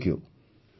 thank you